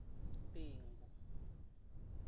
bhengu